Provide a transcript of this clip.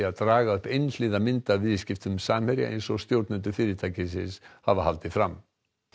að draga upp einhliða mynd af viðskiptum Samherja eins og stjórnendur fyrirtækisins hafa haldið fram